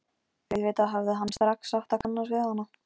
Auðvitað hefði hann strax átt að kannast við hana.